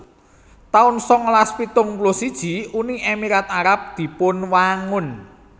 taun sangalas pitung puluh siji Uni Emirat Arab dipunwangun